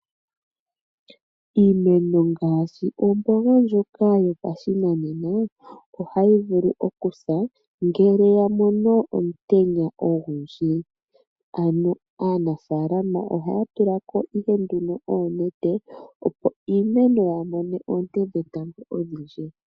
Iimeno ngaashi omboga ndjoka yopashinanena ohayi vulu okusa ngele ya mono omutenya ogundji. Ano aanafaalama oha ya tulako ihe ndunoboonete opo iimeno yaa mone oonte dhetango odhindji.